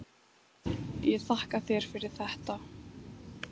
Ég þakka þér fyrir þetta.